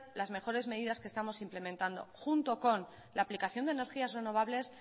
las mejores medidas que estamos implementando junto con la aplicación de energías renovables